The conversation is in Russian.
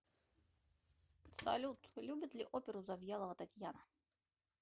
салют любит ли оперу завьялова татьяна